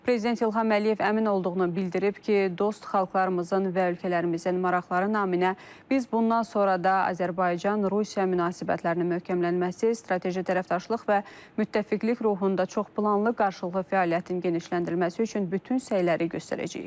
Prezident İlham Əliyev əmin olduğunu bildirib ki, dost xalqlarımızın və ölkələrimizin maraqları naminə biz bundan sonra da Azərbaycan-Rusiya münasibətlərinin möhkəmlənməsi, strateji tərəfdaşlıq və müttəfiqlik ruhunda çoxplanlı qarşılıqlı fəaliyyətin genişləndirilməsi üçün bütün səyləri göstərəcəyik.